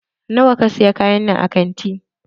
Nawa ka saya kayannan a kanti?